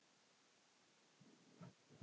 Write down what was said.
Við skulum hringja fyrst.